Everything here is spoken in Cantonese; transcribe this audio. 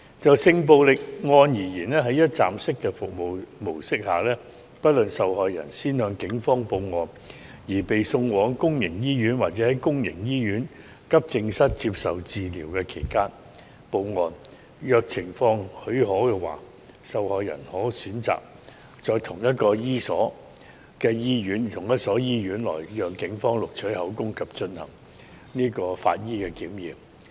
就性暴力案而言，在一站式的服務模式下，不論受害人先向警方報案而被送往公營醫院，或在公營醫院急症室接受治療期間報案，如情況許可，受害人可選擇在同一所醫院內讓警方錄取口供及進行法醫檢驗。